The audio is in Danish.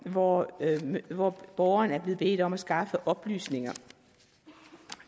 hvor hvor borgeren er blevet bedt om at skaffe oplysninger